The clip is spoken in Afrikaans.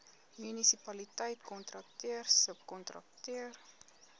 munisipaliteit kontrakteur subkontrakteur